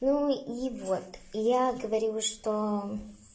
ну и вот я говорю что